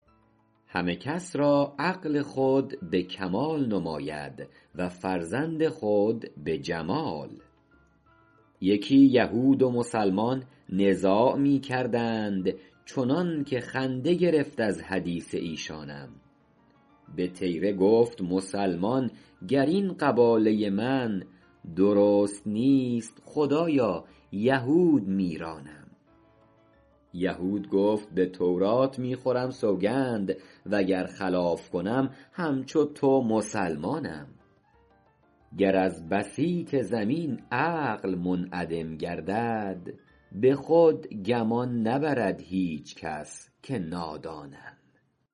همه کس را عقل خود به کمال نماید و فرزند خود به جمال یکی یهود و مسلمان نزاع می کردند چنان که خنده گرفت از حدیث ایشانم به طیره گفت مسلمان گر این قباله من درست نیست خدایا یهود میرانم یهود گفت به تورات می خورم سوگند وگر خلاف کنم همچو تو مسلمانم گر از بسیط زمین عقل منعدم گردد به خود گمان نبرد هیچ کس که نادانم